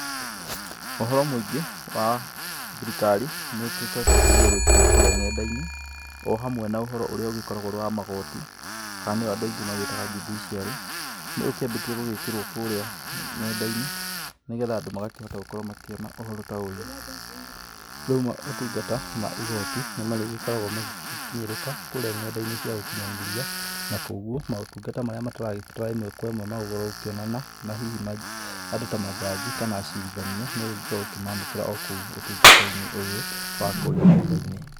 Ũhoro mũingĩ wa thirikari nĩũgĩkoretwo ũkĩgeria gwĩkĩrwo kũrĩa ng’enda-inĩ, o hamwe na ũhoro ũrĩa ũgĩkoragwo ũrĩ wa magoti, kana nĩguo andũ aingĩ magĩĩtaga judiciary ,nĩũkĩambĩtie gũgĩkĩrwo kũrĩa ng’enda-inĩ, nĩgetha andũ magakĩhota gũkorwo makĩona ũhoro ta ũyũ, rĩu maũtungata ma igooti nĩmarĩgĩkoragwo magĩkinyĩrĩka, kũrĩa ng’enda-inĩ cia ũkinyanĩria, na kwoguo maũtungata marĩa mataragibatara ĩmwe kwa ĩmwe magũrũkĩonana na hihi andũ ta majaji kana acirithania nĩũrĩgĩkoragwo ũkĩmamũkĩra okuo ũtungata-inĩ ũyũ wa kũrĩa ng’enda-inĩ.